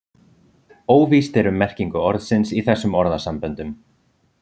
óvíst er um merkingu orðsins í þessum orðasamböndum